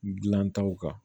Dilantaw kan